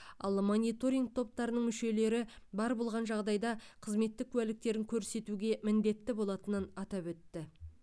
ал мониторинг топтарының мүшелері бар болған жағдайда қызметтік куәліктерін көрсетуге міндетті болатынын атап өтті